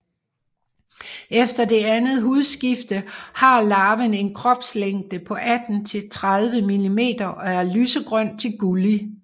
Efter det andet hudskifte har larven en kropslængde på 18 til 30 mm og er lysegrøn til gullig